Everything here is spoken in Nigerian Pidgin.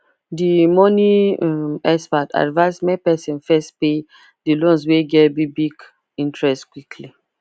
the money um expert advise make person first pay the loans wey get big big interest quickly